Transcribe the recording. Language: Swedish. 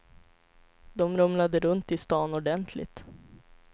De rumlade runt i stan ordentligt.